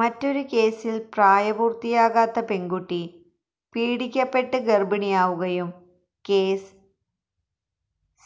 മറ്റൊരു കേസില് പ്രായപൂര്ത്തിയാകാത്ത പെണ്കുട്ടി പീഡിപ്പിക്കപ്പെട്ട് ഗര്ഭിണിയാവുകയും കേസ്